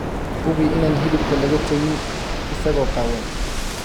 Hubi inaan hilibka laga tegin isagoo qaawan.